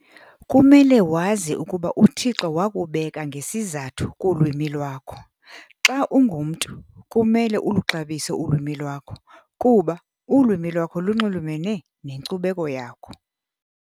kumele wazi ukuba uThixo wakubeka ngesizathu kulwimi lwakho. Xa ungumntu kumele uluxabise ulwimi lwakho kuba ulwimi lunxulumele nenkcubeko yakho.